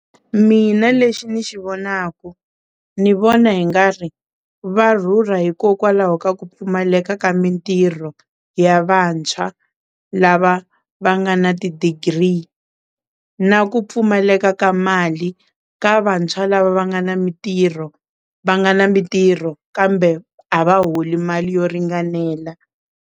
Mina lexi ni xi vonaka ni vona hi nga ri va rhurha hikokwalaho ka ku pfumaleka ka mintirho ya vantshwa lava va nga na ti-degree na ku pfumaleka ka mali ka vantshwa la va nga na mintirho va nga na mintirho kambe a va holi mali yo ringanela.